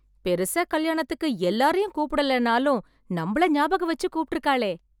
பெருசா கல்யாணத்துக்கு எல்லாரையும் கூப்டலேன்னாலும், நம்மள ஞாபகம் வெச்சு கூப்ட்ருக்காளே...